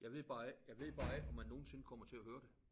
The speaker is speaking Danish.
Jeg ved bare ikke jeg ved bare ikke om man nogensinde kommer til at høre det